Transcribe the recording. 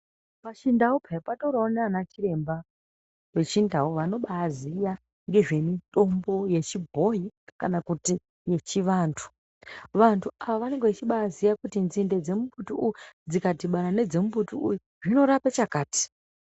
Pachindau payani patoriwo nana chiremba vechindau vanobaziya ngezve mitombo yechibhoi kana kuti yechivantu vantu ava vanenge vechibaziya kuti dzinde dzemumbuti uyu dzikadhibana nedzemumbuti uyu zvinorape chakati.